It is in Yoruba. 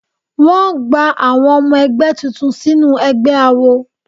Wọ́n gba àwọn ọmọ ẹgbẹ́ tuntun sínú ẹgbẹ́ awo.